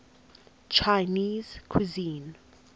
chinese cuisine